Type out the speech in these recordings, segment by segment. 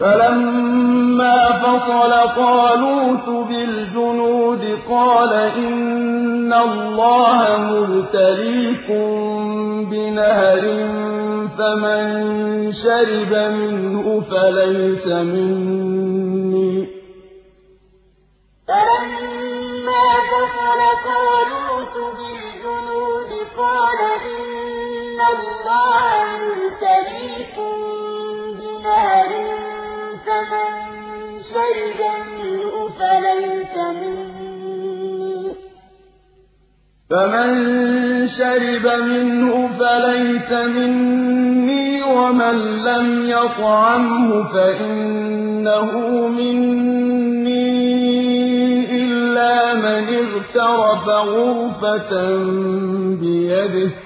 فَلَمَّا فَصَلَ طَالُوتُ بِالْجُنُودِ قَالَ إِنَّ اللَّهَ مُبْتَلِيكُم بِنَهَرٍ فَمَن شَرِبَ مِنْهُ فَلَيْسَ مِنِّي وَمَن لَّمْ يَطْعَمْهُ فَإِنَّهُ مِنِّي إِلَّا مَنِ اغْتَرَفَ غُرْفَةً بِيَدِهِ ۚ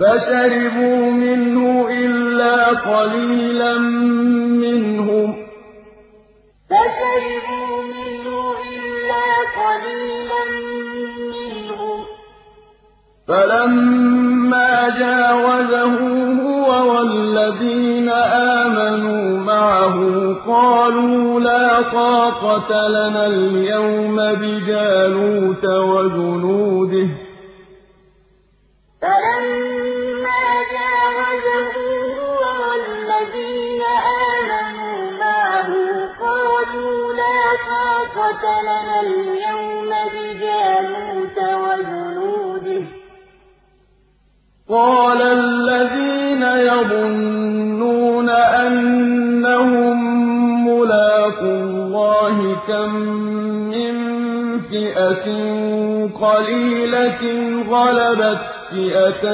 فَشَرِبُوا مِنْهُ إِلَّا قَلِيلًا مِّنْهُمْ ۚ فَلَمَّا جَاوَزَهُ هُوَ وَالَّذِينَ آمَنُوا مَعَهُ قَالُوا لَا طَاقَةَ لَنَا الْيَوْمَ بِجَالُوتَ وَجُنُودِهِ ۚ قَالَ الَّذِينَ يَظُنُّونَ أَنَّهُم مُّلَاقُو اللَّهِ كَم مِّن فِئَةٍ قَلِيلَةٍ غَلَبَتْ فِئَةً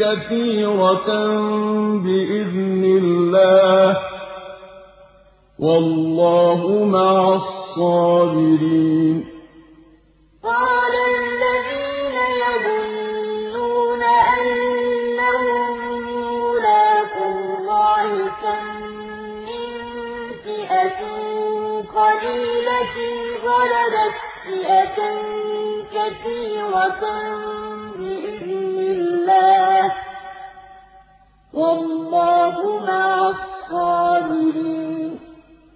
كَثِيرَةً بِإِذْنِ اللَّهِ ۗ وَاللَّهُ مَعَ الصَّابِرِينَ فَلَمَّا فَصَلَ طَالُوتُ بِالْجُنُودِ قَالَ إِنَّ اللَّهَ مُبْتَلِيكُم بِنَهَرٍ فَمَن شَرِبَ مِنْهُ فَلَيْسَ مِنِّي وَمَن لَّمْ يَطْعَمْهُ فَإِنَّهُ مِنِّي إِلَّا مَنِ اغْتَرَفَ غُرْفَةً بِيَدِهِ ۚ فَشَرِبُوا مِنْهُ إِلَّا قَلِيلًا مِّنْهُمْ ۚ فَلَمَّا جَاوَزَهُ هُوَ وَالَّذِينَ آمَنُوا مَعَهُ قَالُوا لَا طَاقَةَ لَنَا الْيَوْمَ بِجَالُوتَ وَجُنُودِهِ ۚ قَالَ الَّذِينَ يَظُنُّونَ أَنَّهُم مُّلَاقُو اللَّهِ كَم مِّن فِئَةٍ قَلِيلَةٍ غَلَبَتْ فِئَةً كَثِيرَةً بِإِذْنِ اللَّهِ ۗ وَاللَّهُ مَعَ الصَّابِرِينَ